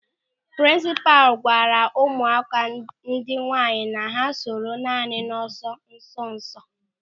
Prinsipal gwara ụmụakwụkwọ ndị nwaanyị na ha soro naanị n'ọsọ nsonso.